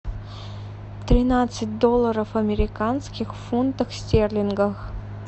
тринадцать долларов американских в фунтах стерлингах